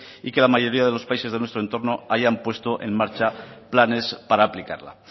y que la mayoría de los países de nuestro entorno hayan puesto en marcha planes para aplicarla